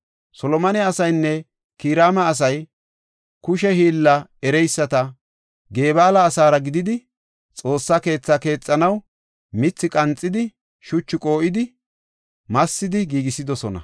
Solomone asaynne Kiraama asay kushe hiilla ereysati, Gebaala asaara gididi, Xoossa keethaa keexanaw mithi qanxidi, shuchaa qoo7idinne massidi giigisidosona.